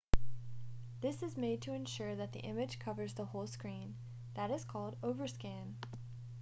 this is made to ensure that the image covers the whole screen that is called overscan